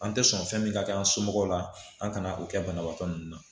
An tɛ sɔn fɛn min ka kɛ an somɔgɔw la an kana o kɛ banabaatɔ ninnu na